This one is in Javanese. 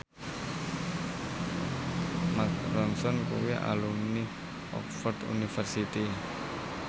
Mark Ronson kuwi alumni Oxford university